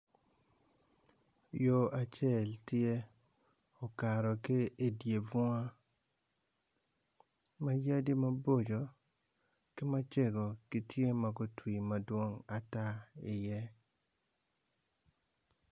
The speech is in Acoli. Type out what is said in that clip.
Yo acel tye okato ki idye bunga ma yadi mabocco ki macego tye ma gutwi madwong ata iye.